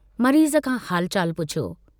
मरीज़ खां हालु चालु पुछियो।